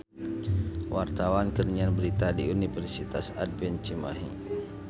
Wartawan keur nyiar berita di Universitas Advent Cimahi